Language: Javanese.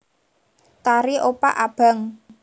Tari opak abang